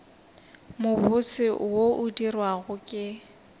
mobose wo o dirwago ke